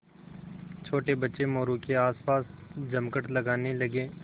छोटे बच्चे मोरू के आसपास जमघट लगाने लगे